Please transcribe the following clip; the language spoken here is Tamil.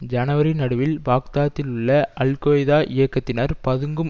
ஜனவரி நடுவில் பாக்தாத்திலுள்ள அல்கொய்தா இயக்கத்தினர் பதுங்கும்